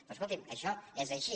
però escolti’m això és així